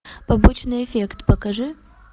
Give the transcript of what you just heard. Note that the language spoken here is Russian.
побочный эффект покажи